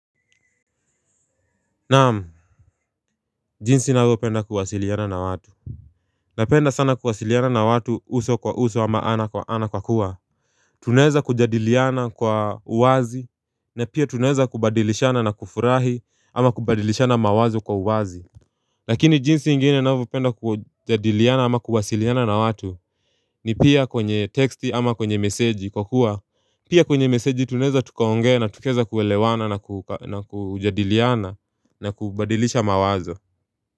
Na'am, jinsi ninavyopenda kuwasiliana na watu. Napenda sana kuwasiliana na watu uso kwa uso ama ana kwa kuwa Tunaeza kujadiliana kwa uwazi na pia tunaeza kubadilishana na kufurahi ama kubadilishana mawazo kwa uwazi Lakini jinsi ingine ninavyopenda kujadiliana ama kuwasiliana na watu ni pia kwenye texti ama kwenye meseji kwa kuwa Pia kwenye meseji tunaeza tukaongea na tukaweza kuelewana na ku na kujadiliana na kubadilisha mawazo.